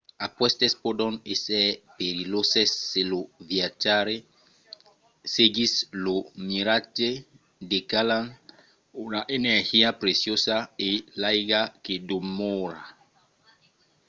aquestes pòdon èsser perilhoses se lo viatjaire seguís lo miratge degalhant una energia preciosa e l'aiga que demòra